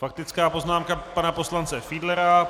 Faktická poznámka pana poslance Fiedlera.